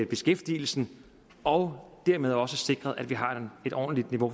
beskæftigelsen og dermed også sikre at vi har et ordentligt niveau